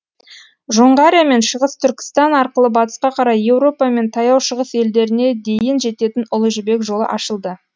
жоңғария мен шығыс түркістан арқылы батысқа қарай еуропа мен таяу шығыс елдеріне дейін жететін ұлы жібек жолы ашылды